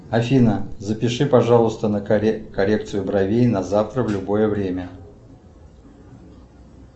афина запиши пожалуйста на коррекцию бровей на завтра в любое время